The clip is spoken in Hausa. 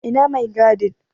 Ina mai gadin?